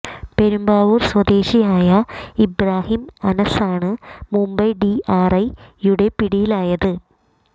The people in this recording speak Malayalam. പെരുമ്പാവൂർ സ്വദേശിയായ ഇബ്രാഹിം അനസാണ് മുംബൈ ഡി ആർ ഐ യുടെ പിടിയിലായത്